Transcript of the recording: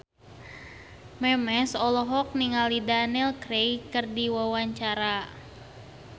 Memes olohok ningali Daniel Craig keur diwawancara